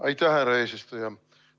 Aitäh, härra eesistuja!